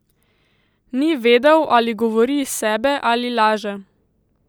Ni vedel, ali govori iz sebe ali laže.